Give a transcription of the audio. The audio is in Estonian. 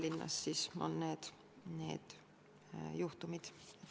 Jutt on Tallinnas aset leidnud juhtumitest.